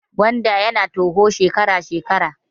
Gwanda ya na toho shekara shekara